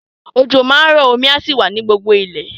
Òjò máa rọ, omi á sì wà ní gbogbo ilẹ̀.